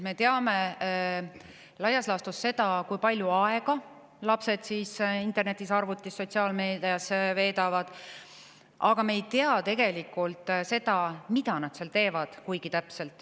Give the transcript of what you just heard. Me teame laias laastus seda, kui palju aega lapsed internetis, arvutis, sotsiaalmeedias veedavad, aga me ei tea tegelikult kuigi täpselt seda, mida nad seal teevad.